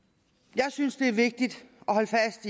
jeg synes det er vigtigt